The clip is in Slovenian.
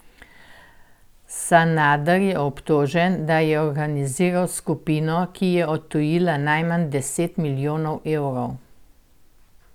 Sanader je obtožen, da je organiziral skupino, ki je odtujila najmanj deset milijonov evrov.